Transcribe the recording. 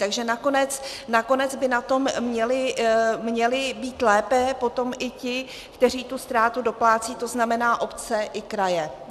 Takže nakonec by na tom měli být lépe potom i ti, kteří tu ztrátu doplácejí, to znamená obce i kraje.